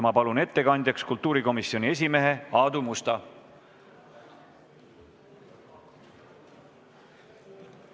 Ma palun ettekandjaks kultuurikomisjoni esimehe Aadu Musta!